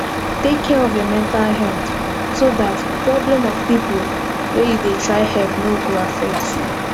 take care of your mental health so dat problem of pipo wey you dey try help no go affect you